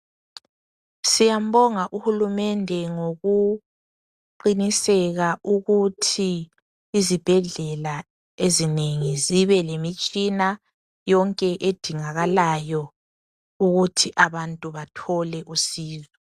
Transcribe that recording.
Siyambonga uhulumende ngokuqiniseka ukuthi izibhedlela ezinengi zibelemitshina yonke edingakalayo ukuthi abantubathole usizo.